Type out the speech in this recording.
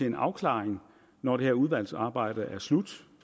en afklaring når det her udvalgsarbejde er slut